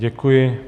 Děkuji.